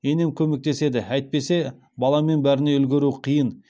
енем көмектеседі әйтпесе баламен бәріне үлгеру қиын